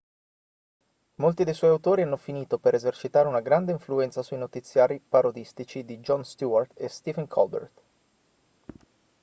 molti dei suoi autori hanno finito per esercitare una grande influenza sui notiziari parodistici di jon stewart e stephen colbert